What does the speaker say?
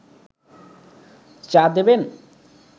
চা দেবেন